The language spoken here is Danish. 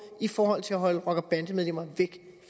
i forhold til at holde rockere og bandemedlemmer væk